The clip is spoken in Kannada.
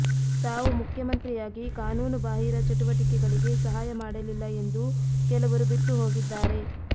ತಾವು ಮುಖ್ಯಮಂತ್ರಿಯಾಗಿ ಕಾನೂನು ಬಾಹಿರ ಚಟುವಟಿಕೆಗಳಿಗೆ ಸಹಾಯ ಮಾಡಲಿಲ್ಲ ಎಂದು ಕೆಲವರು ಬಿಟ್ಟು ಹೋಗಿದ್ದಾರೆ